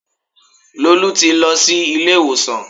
Lolú ti lọ sí ilé ìwòsàn